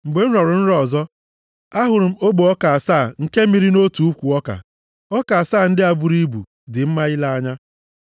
“Mgbe m rọrọ nrọ ọzọ, a hụrụ m ogbe ọka asaa nke mịrị nʼotu ukwu ọka. Ọka asaa ndị a buru ibu, dị mma ile anya.